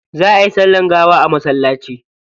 Za ayi sallar gawa a masallaci.